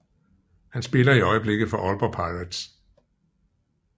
Han spiller i øjeblikket for Aalborg Pirates